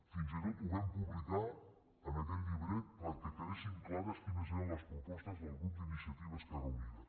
fins i tot ho vam publicar en aquell llibret perquè quedessin clares quines eren les propostes del grup d’iniciativa esquerra unida